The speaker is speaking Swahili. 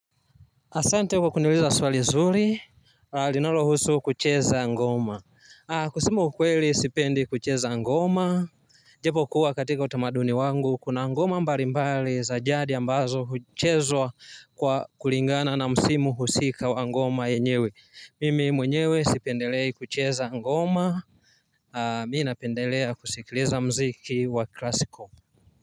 Asante kwa kuniuliza swali zuri, linalohusu kucheza ngoma kusema ukweli sipendi kucheza ngoma japo kuwa katika utamaduni wangu, kuna ngoma mbali mbali za jadi ambazo huchezwa kwa kulingana na msimu husika wa ngoma yenyewe mimi mwenyewe sipendelei kucheza ngoma mimi napendelea kusikiliza mziki wa klasiko.